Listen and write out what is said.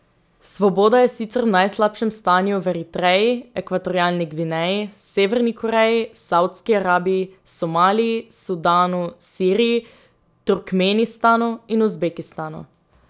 Svoboda je sicer v najslabšem stanju v Eritreji, Ekvatorialni Gvineji, Severni Koreji, Savdski Arabiji, Somaliji, Sudanu, Siriji, Turkmenistanu in Uzbekistanu.